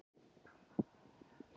Villi, hvernig er veðrið í dag?